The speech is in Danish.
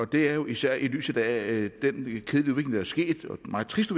det er jo især i lyset af den meget triste